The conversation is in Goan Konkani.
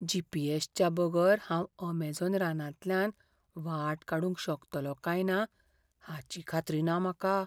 जी. पी. एस.च्या बगर हांव अमेझॉन रानांतल्यान वाट काडूंक शकतलों काय ना हाची खात्री ना म्हाका.